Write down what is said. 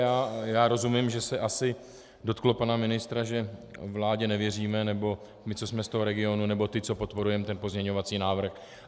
Já rozumím, že se asi dotklo pana ministra, že vládě nevěříme, nebo my, co jsme z toho regionu, nebo ti, co podporujeme ten pozměňovací návrh.